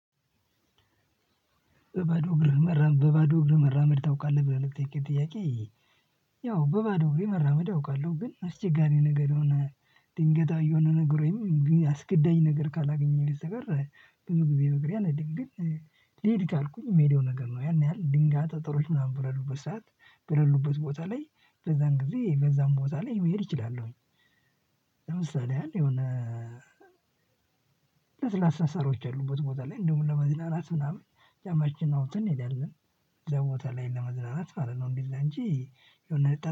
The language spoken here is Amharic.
በባዶ እግር መራመድ በባዶ እግር መራመድ ታውቃለህ ብለህ ለጠየቅከኝ ጥያቄ? ያው በባዶ እግሬ መራመድ አውቃለሁ ግን አስቸጋሪ ነገር የሆነ ድንገታዊ የሆነ ነገር ወይም አስገዳጅ ነገር ካላገኘሁኝ በስተቀር ብዙ ጊዜ በእግሬ አልሄድም ግድ ልሂድ ካልኩም የሚሄደው ነገር ነው ያን ያህል ድንጋጤ ጥሩ ምናምን በሌሉበት ሰዓት በሌሉበት ቦታ ላይ በዛን ጊዜ በዛን ቦታ ላይ መሄድ እችላለሁኝ። ለምሳሌ ያህል የሆነ ለስላሳ ሳሮች ያሉበት ቦታ ላይ እንደውም ለመዝናናት ምናምን ጫማችን አውጥተን እንሄዳለን። እዛ ቦታ ላይ ለመዝናናት ማለት ነው። እንደዛ እንጂ የሆነ ጠ